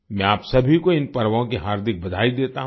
मैं आप सभी को इन पर्वों की हार्दिक बधाई देता हूँ